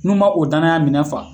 N'u man o danaya minɛn fa